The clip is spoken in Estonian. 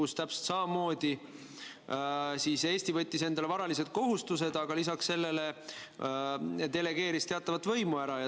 Seal täpselt samamoodi Eesti võttis endale varalised kohustused, aga lisaks sellele delegeeris teatava osa oma võimust.